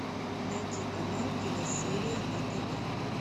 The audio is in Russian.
найти канал киносерия на тв